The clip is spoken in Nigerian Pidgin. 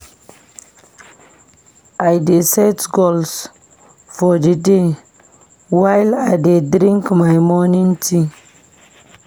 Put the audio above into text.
I dey set goals for the day while I dey drink my morning tea.